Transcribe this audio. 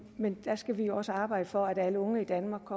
men der skal vi jo også arbejde for at alle unge i danmark